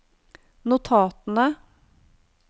notatene